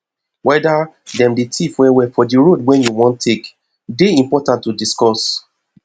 weda dem dey thief well well for di road wey you wan take dey important to discuss